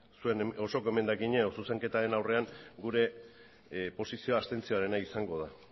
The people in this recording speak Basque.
zuen osoko emendakina edo zuzenketaren aurrean gure posizioa abstentzioarena izango da